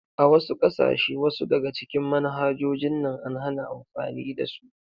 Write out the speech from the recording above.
A wasu kasashe wasu daga cikin manhajojin nan an hana amfani da su.